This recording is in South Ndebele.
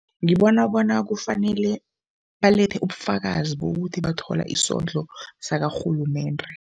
Ngibona bona kufanele balethe ubufakazi bokuthi bathola isondlo sakarhulumende.